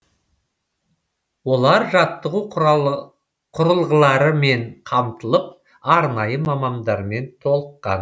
олар жаттығу құрылғыларымен қамтылып арнайы мамандармен толыққан